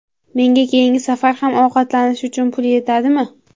Menga keyingi safar ham ovqatlanish uchun pul yetadimi?